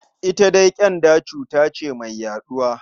Ita dai ƙyanda cuta ce mai yaɗuwa.